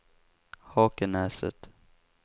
Hakenäset